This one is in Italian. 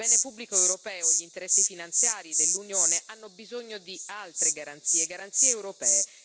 Il bene pubblico europeo e gli interessi finanziari dell'Unione hanno bisogno di altre garanzie, garanzie europee.